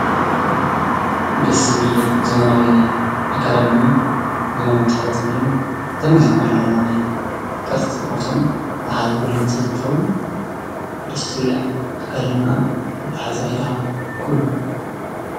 ደስ ዝብል ዘበናዊ አከዳድናን ዘመናዊ አተሓሕዛ ፀጉርን ዘመናዊ አለዓዕላ ናይ ቅርፂ ፎቶን ዉፅኢት ጓል ኣንስተይቲ እንትከዉን ደስ ትብል እያ አከዳድናኣ አተሓሕዛ ኢዳ ኩሉ ።